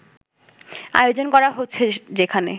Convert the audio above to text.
আয়োজন করা হচ্ছে যেখানে